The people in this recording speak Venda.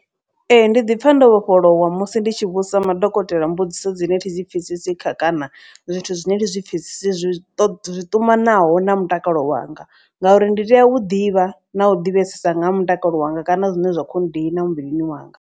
Ee ndi ḓipfha ndo vhofholowa musi ndi tshi vhudzisa madokotela mbudziso dzine thi zwipfesesi kha kana zwithu zwine ndi zwipfesesi zwi ṱumanaho na mutakalo wanga. Ngauri ndi tea u ḓivha na u ḓivhesesa nga ha mutakalo wanga kana zwine zwa kho nndina muvhilini wanga.